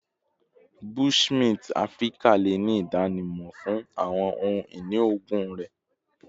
Bushmint Afirika le ni idanimọ fun awọn ohun-ini oogun rẹ